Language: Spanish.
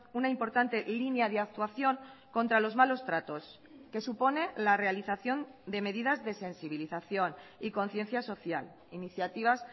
una importante línea de actuación contra los malos tratos que supone la realización de medidas de sensibilización y conciencia social iniciativas